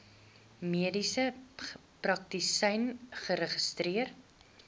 mediese praktisyn geregistreer